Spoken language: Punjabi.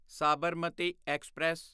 ਸਾਬਰਮਤੀ ਐਕਸਪ੍ਰੈਸ